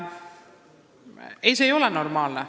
Ei, see ei ole normaalne.